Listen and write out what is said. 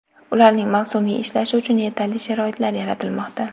Ularning mavsumiy ishlashi uchun yetarli sharoitlar yaratilmoqda.